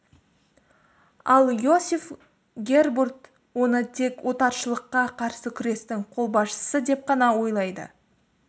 ал иосиф гербурт оны тек отаршылыққа қарсы күрестің қолбасшысы деп қана ойлайды